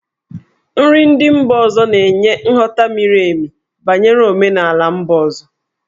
Nri ndị mba ọzọ na-enye nghọta miri emi banyere omenala mba ọzọ.